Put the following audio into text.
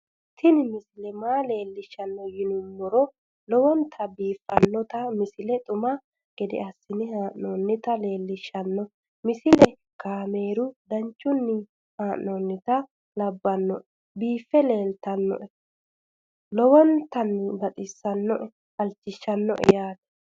tini maa leelishshanno yaannohura lowonta biiffanota misile xuma gede assine haa'noonnita leellishshanno misileeti kaameru danchunni haa'noonni lamboe biiffe leeeltannoqolten lowonta baxissannoe halchishshanno yaate